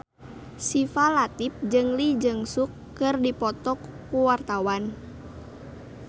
Syifa Latief jeung Lee Jeong Suk keur dipoto ku wartawan